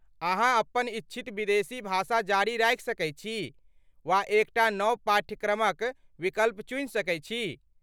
अहाँ अपन इच्छित विदेशी भाषा जारी राखि सकैत छी वा एकटा नव पाठ्यक्रमक विकल्प चुनि सकैत छी।